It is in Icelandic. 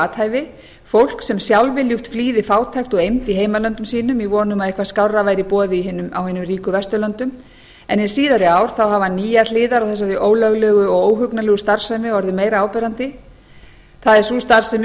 athæfi fólk sem sjálfviljugt flýði fátækt og eymd í heimalöndum sínum í von um að eitthvað skárra væri í boði á hinum ríku vesturlöndum en hin síðari ár hafa nýjar hliðar á þessari ólöglegu og óhugnanlegu starfsemi orðið meira áberandi það er sú starfsemi